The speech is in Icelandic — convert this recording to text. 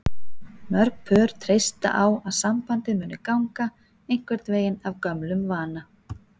Mörg pör treysta á að sambandið muni ganga einhvern veginn af gömlum vana.